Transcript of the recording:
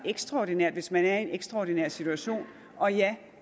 ekstraordinært hvis man er i en ekstraordinær situation og ja